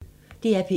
DR P1